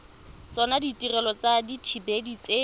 tsona ditirelo tsa dithibedi tse